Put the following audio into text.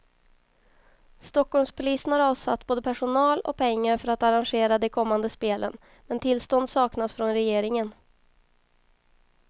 Stockholmspolisen har avsatt både personal och pengar för att arrangera de kommande spelen, men tillstånd saknas från regeringen.